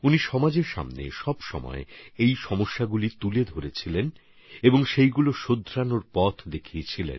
তিনি এই সমস্ত বিকৃতিগুলোকে সমাজের সামনে তুলে ধরেছেন সেগুলি শুধরে নেওয়ার পথ দেখিয়েছেন